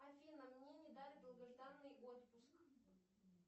афина мне не дали долгожданный отпуск